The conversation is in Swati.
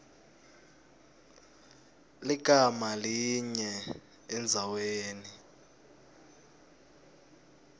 ligama linye endzaweni